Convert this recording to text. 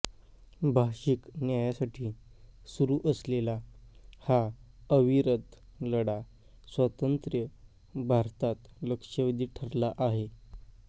भाषिक न्यायासाठी सुरू असलेला हा अविरत लढा स्वातंत्र्य भारतात लक्षवेधी ठरला आहे